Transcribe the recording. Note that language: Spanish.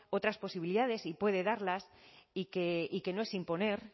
otras posibilidades y puede darlas y que no es imponer